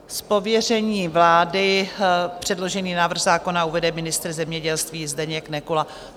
Z pověření vlády předložený návrh zákona uvede ministr zemědělství Zdeněk Nekula.